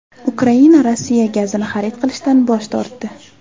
Ukraina Rossiya gazini xarid qilishdan bosh tortdi.